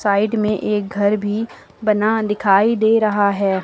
Side में एक घर भी बना दिखाई दे रहा है।